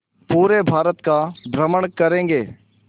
पूरे भारत का भ्रमण करेंगे